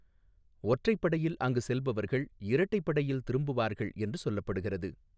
ஒற்றைப்படையில் அங்கு செல்பவர்கள் இரட்டைப்படையில் திரும்புவார்கள் என்று சொல்லப்படுகிறது.